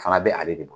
Fana bɛ ale de bolo